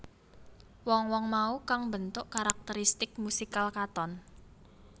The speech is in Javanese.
Wong wong mau kang mbentuk karakteristik musikal Katon